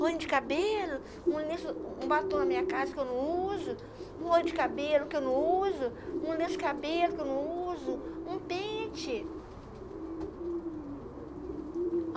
Rolho de cabelo, um batom na minha casa que eu não uso, um rolho de cabelo que eu não uso, um lenço de cabelo que eu não uso, um pente.